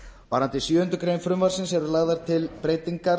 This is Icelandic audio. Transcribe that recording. varðandi sjöundu greinar frumvarpsins eru lagðar til breytingar